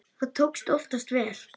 Það tókst oftast vel.